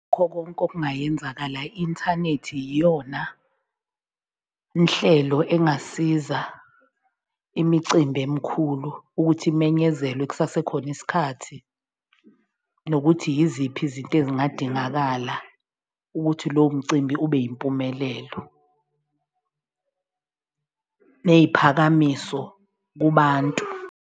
Kukho konke okungayenzakala i-inthanethi yiyona nhlelo engasiza imicimbi emikhulu ukuthi imenyezelwe kusasekhona isikhathi, nokuthi yiziphi izinto ezingadingakala ukuthi lowo mcimbi ube yimpumelelo neyiphakamiso kubantu.